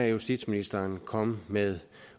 justitsministeren komme med